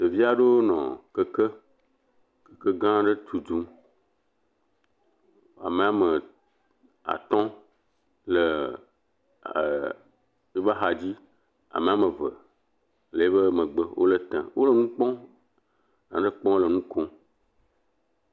Ɖevi aɖewo nɔ keke gã aɖe tutum. Ame atɔ̃ le woƒe axadzi. Ame eve le eƒe megbe, wole etɔm. wole nu kpɔm le nu kom.